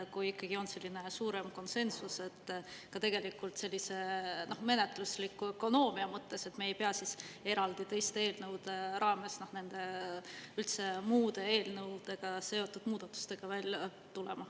Kui ikkagi olnud selline suurem konsensus ja tegelikult ka sellise menetlusliku ökonoomia mõttes, me ei pea siis eraldi teiste eelnõude raames, üldse muude eelnõudega seotud muudatustega välja tulema.